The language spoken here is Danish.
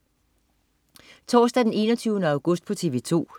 Torsdag den 21. august - TV 2: